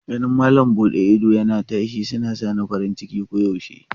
Ganin malam bude idosuna tashi yana sa ni farin ciki koyaushe.